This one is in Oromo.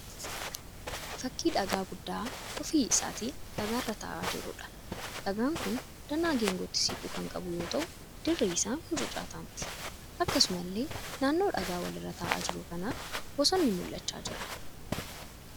Fakkii dhagaa guddaa ofii isaatii dhagaa irra ta'aa jiruudha. dhagaan kun danaa geengootti siqu kan qabu yoo ta'u dirri isaa mucucaataa miti. Akkasumallee naannoo dhagaa wal irra ta'aa jiru kanaa bosonni mul'achaa jira.